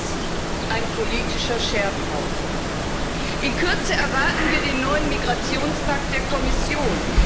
Das ist ein politischer Scherbenhaufen. In Kürze erwarten wir den neuen Migrationspakt der Kommission.